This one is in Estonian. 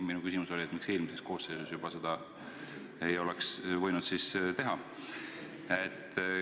Minu küsimus oli, miks siis eelmises koosseisus juba ei oleks võinud seda teha.